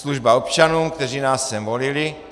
Služba občanům, kteří nás sem volili.